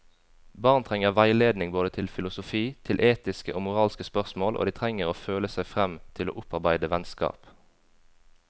Barn trenger veiledning både til filosofi, til etiske og moralske spørsmål, og de trenger å føle seg frem til å opparbeide vennskap.